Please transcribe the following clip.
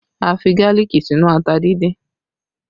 A fi gálíìkì sínú ata díndín